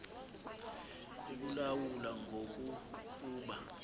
ekulawula ngoku kuba